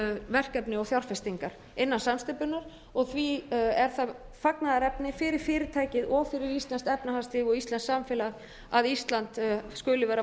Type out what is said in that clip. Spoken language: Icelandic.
verkefni og fjárfestingar innan samsteypunnar og því er það fagnaðarefni fyrir fyrirtækið og fyrir íslenskt efnahagslíf og íslenskt samfélag að ísland skuli vera